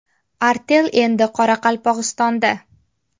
Artel endi Qoraqalpog‘istonda!.